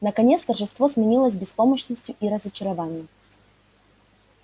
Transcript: наконец торжество сменилось беспомощностью и разочарованием